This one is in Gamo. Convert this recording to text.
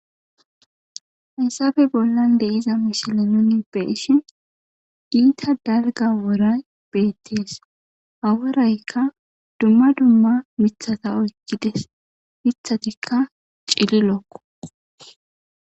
Haysafe bollan deYIza mishile nuni beeshin giita dalga woray beettees ha woraykka dumma dumma mithata oykkides mithatikka cililokko.